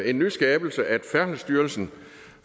en nyskabelse at færdselsstyrelsen